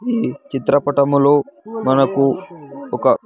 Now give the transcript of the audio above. ఈ చిత్రపటములో మనకు ఒక.